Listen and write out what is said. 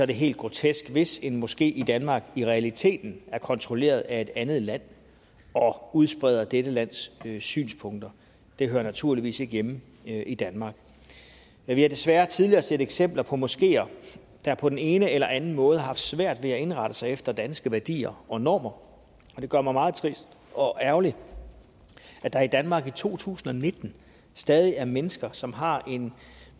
det helt grotesk hvis en moské i danmark i realiteten er kontrolleret af et andet land og udspreder dette lands synspunkter det hører naturligvis ikke hjemme i danmark vi har desværre tidligere set eksempler på moskeer der på den ene eller den anden måde har haft svært ved at indrette sig efter danske værdier og normer det gør mig meget trist og ærgerlig at der i danmark i to tusind og nitten stadig er mennesker som har en